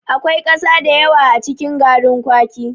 Akwai ƙasa da yawa a cikin garrin kwaki.